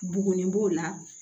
Bugunen b'o la